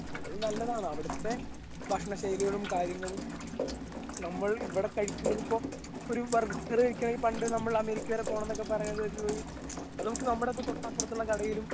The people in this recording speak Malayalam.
അത് നല്ലതാണ് അവിടുത്തെ ഭക്ഷണ ശൈലികളും കാര്യങ്ങളും നമ്മൾ ഇവിടെ കഴിക്കുന്നതിപ്പൊ ഒരു ബർഗർ കഴിക്കണെങ്കിൽ പണ്ട് നമ്മൾ അമേരിക്ക വരെ പോണംന്നൊക്കെ പറയുന്നതൊരു ഒരു അത് നമുക്ക് നമ്മടെ തൊട്ടപ്പറത്തുള്ള കടയിലും.